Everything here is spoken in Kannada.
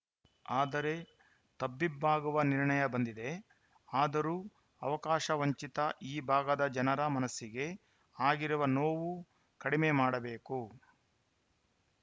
ಆದರೆ ತಬ್ಬಿಬ್ಬಾಗುವ ನಿರ್ಣಯ ಬಂದಿದೆ ಆದರೂ ಅವಕಾಶ ವಂಚಿತ ಈ ಭಾಗದ ಜನರ ಮನಸಿಗೆ ಆಗಿರುವ ನೋವು ಕಡಿಮೆ ಮಾಡಬೇಕು